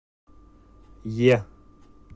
е